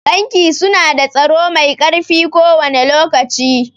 Banki su na da tsaro mai ƙarfi kowane lokaci